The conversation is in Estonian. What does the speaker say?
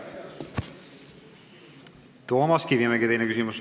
Toomas Kivimägi, teine küsimus.